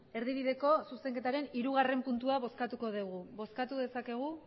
erdibideko zuzenketaren hirugarrena puntua bozkatuko dugu bozkatu dezakegu